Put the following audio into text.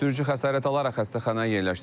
Sürücü xəsarət alaraq xəstəxanaya yerləşdirilib.